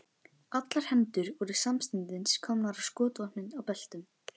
Allar hendur voru samstundis komnar á skotvopnin í beltunum.